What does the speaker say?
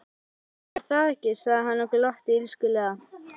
Já, var það ekki, sagði hann og glotti illskulega.